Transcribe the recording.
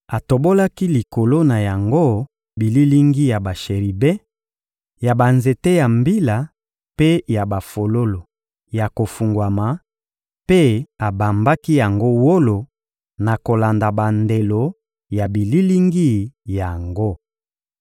Atobolaki likolo na yango bililingi ya basheribe, ya banzete ya mbila mpe ya bafololo ya kofungwama; mpe abambaki yango wolo na kolanda bandelo ya bililingi yango.